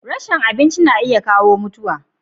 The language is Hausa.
rashin abinci na iya kawo mutuwa